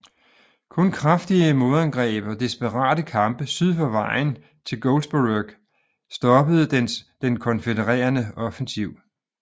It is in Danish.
Kun kraftige modangreb og desperate kampe syd for vejen til Goldsborough stoppede den konfødererede offensiv